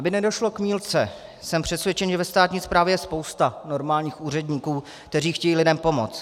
Aby nedošlo k mýlce, jsem přesvědčen, že ve státní správě je spousta normálních úředníků, kteří chtějí lidem pomoct.